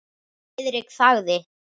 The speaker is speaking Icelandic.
Friðrik þagði.